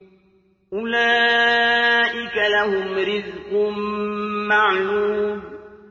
أُولَٰئِكَ لَهُمْ رِزْقٌ مَّعْلُومٌ